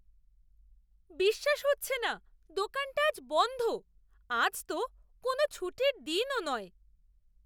বিশ্বাস হচ্ছে না দোকানটা আজ বন্ধ! আজ তো কোনো ছুটির দিনও নয়।